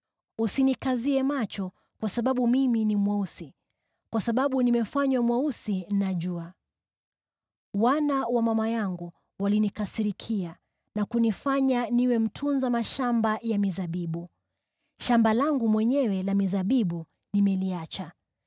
Usinikazie macho kwa sababu mimi ni mweusi, kwa sababu nimefanywa mweusi na jua. Wana wa mama yangu walinikasirikia na kunifanya niwe mtunza mashamba ya mizabibu. Shamba langu mwenyewe la mizabibu nimeliacha.